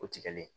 O tigɛlen